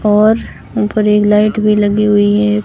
और ऊपर एक लाइट भी लगी हुई है।